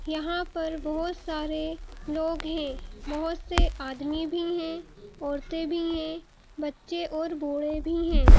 यहां पर बहुत सारे लोग हैं बहुत से आदमी भी हैं औरतें भी हैं बच्चे और बूढ़े भी हैं।